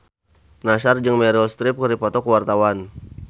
Nassar jeung Meryl Streep keur dipoto ku wartawan